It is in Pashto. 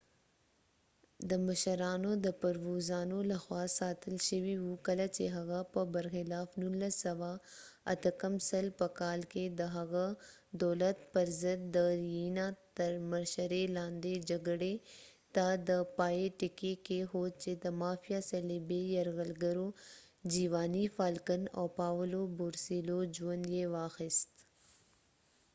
د مشرانو د پرووزانو لخوا ساتل شوي و۔ کله چې هغه په برخلاف 1992په کال کې د هغه دولت پر ضد د ریینا تر مشرۍ لاندې جګړې ته د پای ټکی کېښود چې د مافیا صلیبي یرغلګرو جیواني فالکن او پاولو بورسیلوو ژوند یې واخیست۔